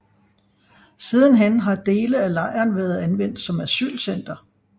Sidenhen har dele af lejren været anvendt som asylcenter